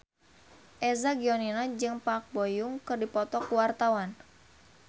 Eza Gionino jeung Park Bo Yung keur dipoto ku wartawan